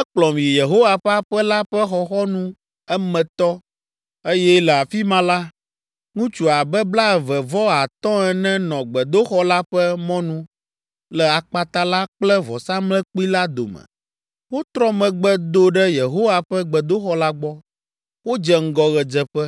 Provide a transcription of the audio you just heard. Ekplɔm yi Yehowa ƒe aƒe la ƒe xɔxɔnu emetɔ, eye le afi ma la, ŋutsu abe blaeve vɔ atɔ̃ ene nɔ gbedoxɔ la ƒe mɔnu le akpata la kple vɔsamlekpui la dome. Wotrɔ megbe do ɖe Yehowa ƒe gbedoxɔ la gbɔ, wodze ŋgɔ ɣedzeƒe,